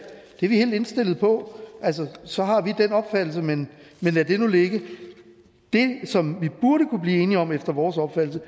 det er vi helt indstillet på så har vi den opfattelse men lad nu det ligge det som vi efter vores opfattelse